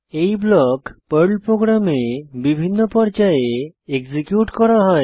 এই block Perl প্রোগ্রামে বিভিন্ন পর্যায়ে এক্সিকিউট করা হয়